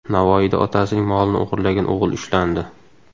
Navoiyda otasining molini o‘g‘irlagan o‘g‘il ushlandi.